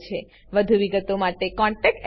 વધુ વિગતો માટે કૃપા કરી contactspoken tutorialorg પર લખો